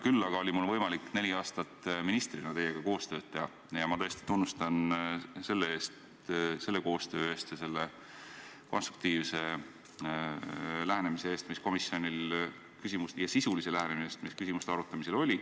Küll aga oli mul võimalik neli aastat ministrina teiega koostööd teha ning ma tõesti tunnustan teid selle koostöö eest ja selle konstruktiivse ja sisulise lähenemise eest, mis komisjonil küsimuste arutamisel oli.